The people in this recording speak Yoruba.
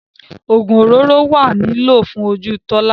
Ogun òróró wa ni lílò fún ojú Tola.